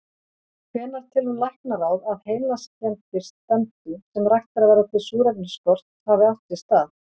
Hvenær telur læknaráð, að heilaskemmdir stefndu, sem raktar verða til súrefnisskorts, hafi átt sér stað?